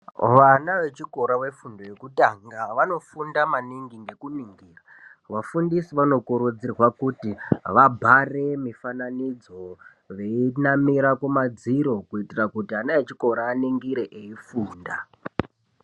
Vana vechikora vefundo yekutanga vanofunda maningi nekuningira vafundisi vanokurudzirwa kuti vabhare mifananidzo veinamira kumadziro kuitira kuti ana echikora aningire eifunda.